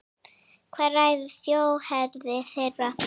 Hvað ræður þjóðerni þeirra?